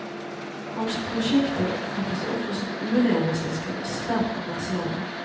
Hans prosjekter oppfattes ofte som urealistiske og svært kommersielle.